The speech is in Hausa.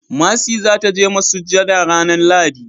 mercy za ta je masujada ranan lahadi